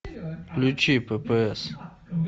включи ппс